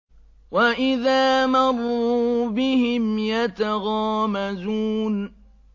وَإِذَا مَرُّوا بِهِمْ يَتَغَامَزُونَ